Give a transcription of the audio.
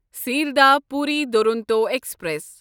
Sealdah Puri Duronto express